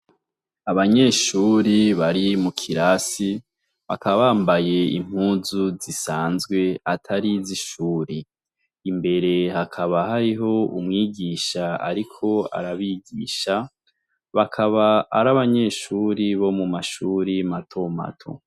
Abanyeshure bari mu kirasi bakaba bambaye impuzu zisanzwe atari izishuri, imbere hakaba hariho umwigisha ariko arabigisha bakaba ari abanyeshuri bo mu mashuri mato mato.